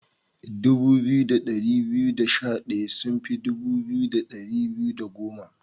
Dubu biyu da dari biyu da sha daya sun fi dubu biyu da dari biyu da goma.